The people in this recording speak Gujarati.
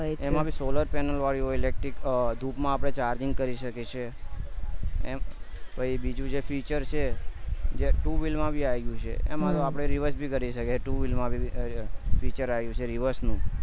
એમાં પણ solar panel વારી હોય electric ટુક માં આપણે charging કરી શકીએ છીએ એમ પછી બીજું જે feature છે જે two vehicle માં બી આવી ગયું છે એમાં આપડે reverse બી કરી શકીએ two vehicle માં બી feature આવી ગયા છે reverse